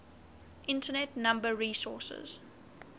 internet number resources